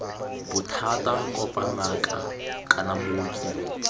bothata kopa ngaka kana mooki